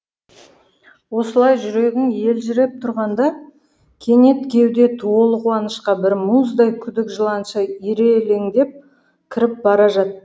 осылай жүрегің елжіреп тұрғанда кенет кеуде толы қуанышқа бір мұздай күдік жыланша ирелеңдеп кіріп бара жатты